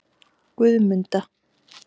Guðmunda